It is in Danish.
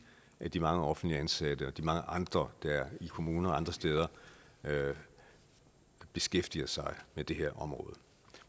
af de mange offentligt ansatte og de mange andre der i kommuner og andre steder beskæftiger sig med det her område